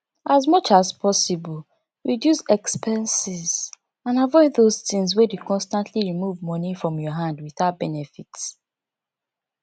as much as possible reduce expenses and avoid those things wey dey constantly remove money for your hand without benefit